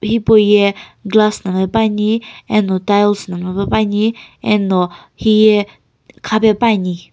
hipauye glass na mlla pepuani eno tiles no mllapepuani eno hiye khapepuani.